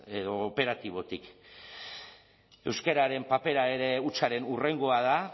edo operatibotik euskararen papera ere hutsaren hurrengoa da